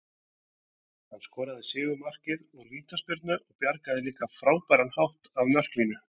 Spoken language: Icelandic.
Hann skoraði sigurmarkið úr vítaspyrnu og bjargaði líka á frábæran hátt af marklínu.